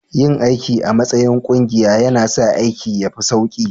Yin aiki a matsayin ƙungiya yana sa aikin ya fi sauƙi